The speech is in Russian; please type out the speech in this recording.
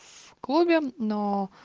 в клубе но